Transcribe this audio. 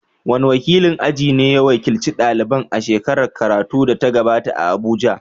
Wane wakilin aji ne ya wakilci daliban a shekarar karatu da ta gabata a Abuja?